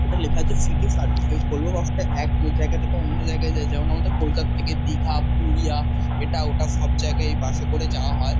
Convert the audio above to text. এটা লেখা আছে সিটি সার্ভিস । এই ভলভো বাস -টা এক জায়গা থেকে অন্য জায়গায় যায়। যেমন- আমাদের কলকাতা থেকে দীঘা পুরুলিয়া এটা ওটা সব জায়গায় এই বাস -এ করে যাওয়া হয়।